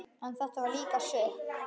En þetta var líka sukk.